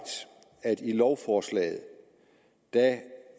at i lovforslaget